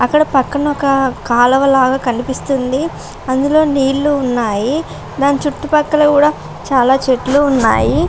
అక్కడ పక్కన ఒక కాలువలాగా కనిపిస్తుంది. అందులో నీళ్లు ఉన్నాయి. దాని చుట్టుపక్కల కూడా చాలా చెట్లు ఉన్నాయి.